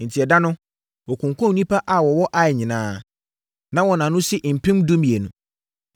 Enti ɛda no, wɔkunkumm nnipa a wɔwɔ Ai nyinaa; na wɔn ano si mpem dumienu.